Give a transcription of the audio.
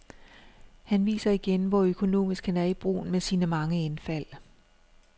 Han viser igen, hvor økonomisk han er i brugen af sine mange indfald.